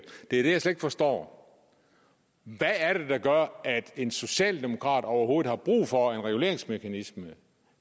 det er det jeg slet ikke forstår hvad er det der gør at en socialdemokrat overhovedet har brug for en reguleringsmekanisme